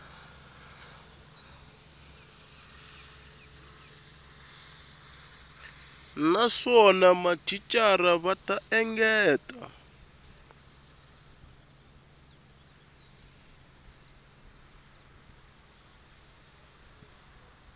naswona mathicara va ta engetela